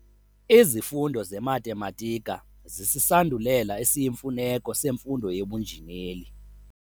Izifundo zematematika zisisandulela esiyimfuneko semfundo yobunjineli.